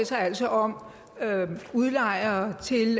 sig altså om udlejere